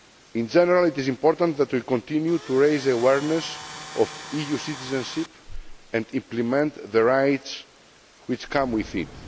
In general, it is important that we continue to raise awareness of EU citizenship and implement the rights which come with it.